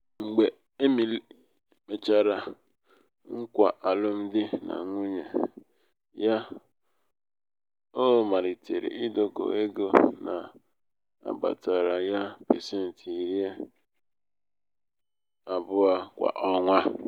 mgbe emily mechara nkwa alụmdi na nwunye ya ọ malitere idokọ ego na-abatara ya pasenti iri pasenti iri abụọ kwa ọnwa.